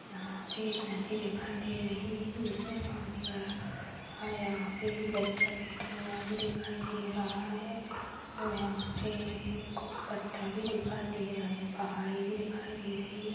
यहाँ पे एक नदी दिखाई दे रही है जिसमे पानी भरा यहाँ पे बच्चा बैठा हुआ भी दिखाई दे रहा है और यहाँ पे कुछ पत्थर भी दिखाई दे रहे हैं पहाड़ी भी दिखाई दे रही है।